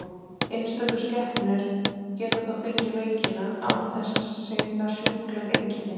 Einstöku skepnur geta þó fengið veikina án þess að sýna sjúkleg einkenni.